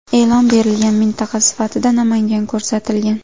E’lon berilgan mintaqa sifatida Namangan ko‘rsatilgan.